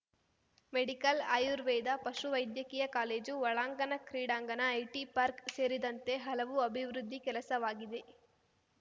medical Ayurveda ಪಶುವೈದ್ಯಕೀಯ college ಒಳಾಂಗಣ ಕ್ರೀಡಾಂಗಣ ಐಟಿ ಪಾರ್ಕ್ ಸೇರಿದಂತೆ ಹಲವು ಅಭಿವೃದ್ಧಿ ಕೆಲಸವಾಗಿದೆ